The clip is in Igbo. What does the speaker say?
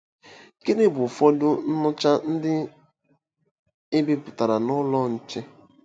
Gịnị bụ ụfọdụ nnụcha ndị e bipụtara n’ Ụlọ Nche?